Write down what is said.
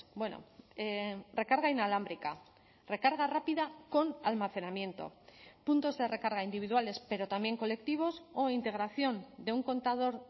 bueno recarga inalámbrica recarga rápida con almacenamiento puntos de recarga individuales pero también colectivos o integración de un contador